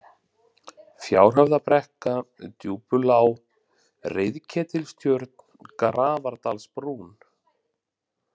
Fjárhöfðabrekka, Djúpulág, Reiðketilstjörn, Grafardalsbrún